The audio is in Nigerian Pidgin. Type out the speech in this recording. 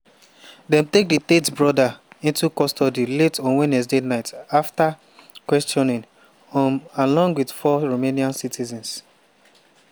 dem take di tate brothers into custody late on wednesday night afta questioning um along wit four romanian citizens.